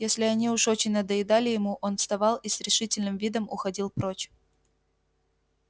если они уж очень надоедали ему он вставал и с решительным видом уходил прочь